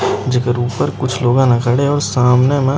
जेकर ऊपर कुछ लोग न खड़े हे अउ सामने म